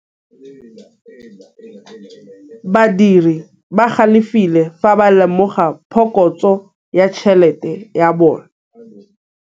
Badiri ba galefile fa ba lemoga phokotsô ya tšhelête ya bone.